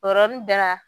O yɔrɔnin bɛɛ la